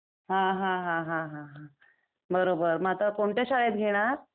हं हं हं हं हं हं .. बरोबर . मग आता कोणत्या शाळेत घेणार ?